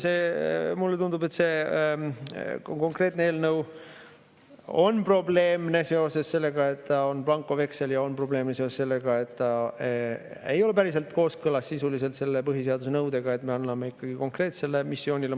Mulle tundub, et see konkreetne eelnõu on probleemne seoses sellega, et ta on blankoveksel, ja on probleemne seoses sellega, et ta ei ole päriselt sisuliselt kooskõlas selle põhiseaduse nõudega, et me anname mandaadi konkreetsele missioonile.